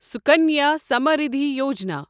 Sukanya Samriddhi Yojana